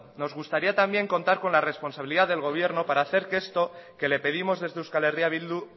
nos gustaría también contar con la responsabilidad del gobierno para hacer que esto que le pedimos desde euskal herria bildu